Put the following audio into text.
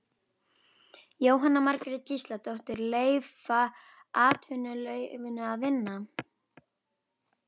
Jóhanna Margrét Gísladóttir: Leyfa atvinnulífinu að vinna?